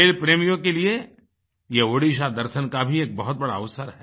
खेल प्रेमियों के लिए ये ओड़िसा दर्शन का भी एक बहुत बड़ा अवसर है